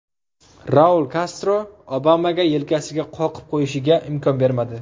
Raul Kastro Obamaga yelkasiga qoqib qo‘yishiga imkon bermadi .